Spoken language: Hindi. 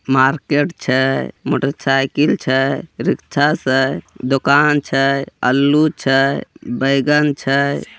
मार्केट छे मोटरसाइकिल छे रिक्शा स दुकान छे अल्लु छे बैगन छे।